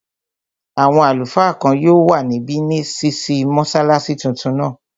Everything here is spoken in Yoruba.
Àwọn àlùfáà kan yóò wà níbi ṣísí mọ́sálásí tuntun náà